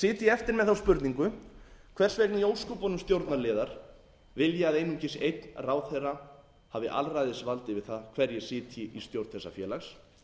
ég eftir með þá spurningu hvers vegna í ósköpunum stjórnarliðar vilja að einungis einn ráðherra hafi alræðisvald yfir það hverjir sitji í stjórn þessa félags